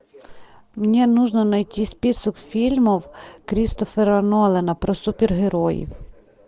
мне нужно найти список фильмов кристофера нолана про супергероев